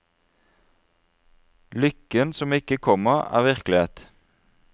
Lykken som ikke kommer er virkelighet.